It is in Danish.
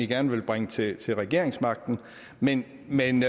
gerne vil bringe til til regeringsmagten men men